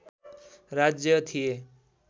राज्य थिए